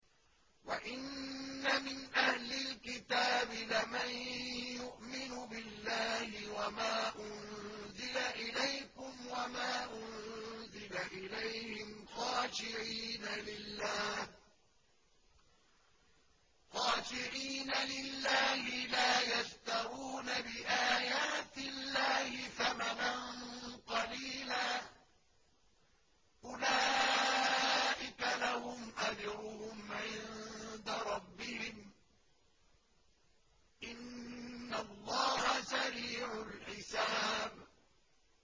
وَإِنَّ مِنْ أَهْلِ الْكِتَابِ لَمَن يُؤْمِنُ بِاللَّهِ وَمَا أُنزِلَ إِلَيْكُمْ وَمَا أُنزِلَ إِلَيْهِمْ خَاشِعِينَ لِلَّهِ لَا يَشْتَرُونَ بِآيَاتِ اللَّهِ ثَمَنًا قَلِيلًا ۗ أُولَٰئِكَ لَهُمْ أَجْرُهُمْ عِندَ رَبِّهِمْ ۗ إِنَّ اللَّهَ سَرِيعُ الْحِسَابِ